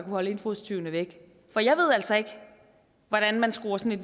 holde indbrudstyvene væk for jeg ved altså ikke hvordan man skruer sådan